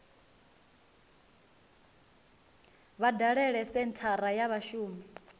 vha dalele senthara ya vhashumi